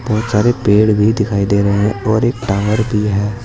बहुत सारे पेड़ भी दिखाई दे रहे हैं और एक टावर भी है।